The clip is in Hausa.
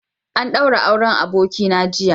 An ɗaura auren Abokina jiya.